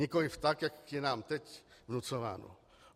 Nikoliv tak, jak je nám teď vnucováno.